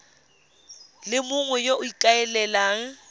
le mongwe yo o ikaelelang